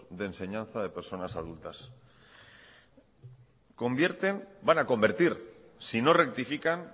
de enseñanza de personas adultas convierten van a convertir si no rectifican